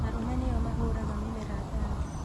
Arũme nĩo mahũraga mĩmera ndawa